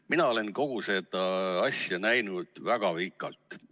Mina olen kogu seda asja näinud väga pikalt.